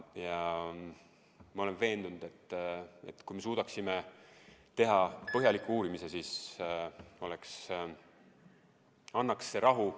Ja ma olen veendunud, et kui me suudaksime teha põhjaliku uurimise, siis see annaks rahu.